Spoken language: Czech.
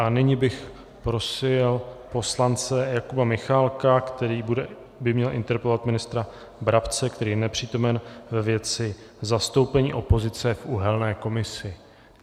A nyní bych prosil poslance Jakuba Michálka, který by měl interpelovat ministra Brabce, který je nepřítomen, ve věci zastoupení opozice v uhelné komisi.